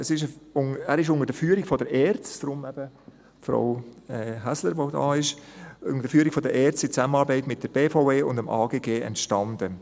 Er ist unter der Führung der ERZ – darum ist eben Frau Häsler da – in Zusammenarbeit mit der BVE und dem Amt für Grundstücke und Gebäude (AGG) entstanden.